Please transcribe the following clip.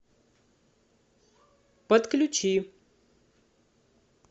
подключи